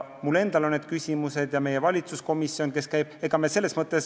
Mul endal on ka need küsimused.